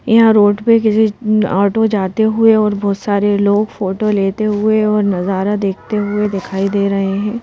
यहां रोड पे किसी ऑटो जाते हुए और बहोत सारे लोग फोटो लेते हुए और नजारा देखते हुए दिखाई दे रहे हैं।